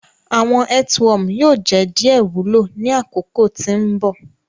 Awọn earthworm yoo jẹ diẹ wulo ni akoko ti mbọ.